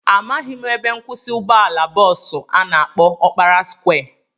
Amaghị m ebe nkwụsị ụgbọala bọọsu a na-akpọ Ọkpara skwịe